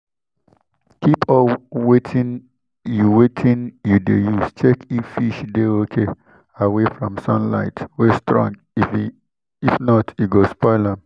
keep all wetin you wetin you de use check if fish de okay away from sunlight wey strong if not e go spoil am